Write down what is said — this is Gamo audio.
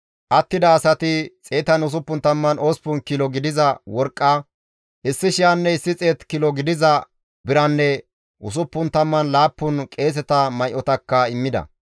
Attida asati 168 kilo gidiza worqqa 1,100 kilo gidiza biranne 67 qeeseta may7otakka immida.